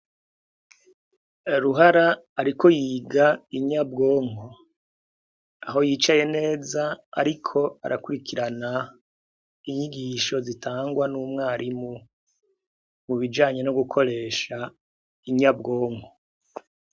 Ruhara, ariko yiga inyabwonko aho yicaye neza, ariko arakurikirana inyigisho zitangwa n'umwarimu mu bijanye no gukoresha inyabwonko.